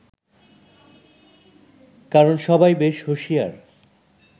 কারণ সবাই বেশ হুঁশিয়ার